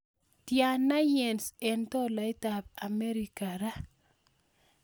Tiana yens eng' tolaitap Amerika raa